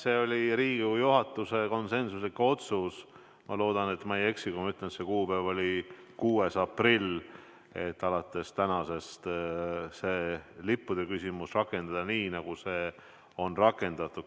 See oli Riigikogu juhatuse konsensuslik otsus – loodan, et ma ei eksi, kui ma ütlen, et see kuupäev oli 6. aprill –, et alates tänasest on see lippude küsimus lahendatud nii, nagu see on lahendatud.